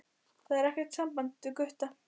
Það er ekkert í sambandi við Gutta.